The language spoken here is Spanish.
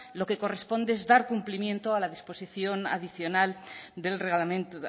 lo que corresponde es dar cumplimiento a la